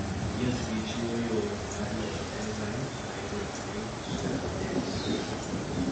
genes gi chiwo yoo mar loso enzyme mailuongo ni ceramidase